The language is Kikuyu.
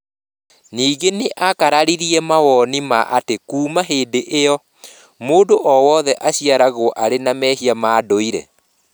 Ningĩ nĩ aakararirie mawoni ma atĩ kuuma hĩndĩ ĩyo, mũndũ o wothe aciaragwo arĩ na mehia ma ndũire.